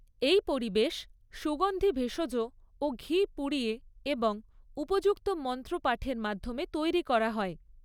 এই পরিবেশ সুগন্ধি ভেষজ ও ঘি পুড়িয়ে এবং উপযুক্ত মন্ত্র পাঠের মাধ্যমে তৈরি করা হয়।